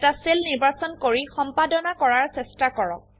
এটা সেল নিৰ্বাচন কৰি সম্পাদনা কৰাৰ চেষ্টা কৰক